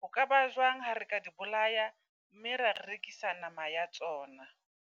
Ho ka ba jwang ha re ka di bolaya, mme ra rekisa nama ya tsona?